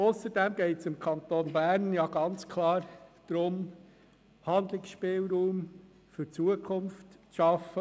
Ausserdem geht es dem Kanton Bern denn ganz klar darum, Handlungsspielraum für die Zukunft zu schaffen.